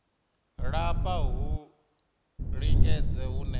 lafha ha u lingedza hune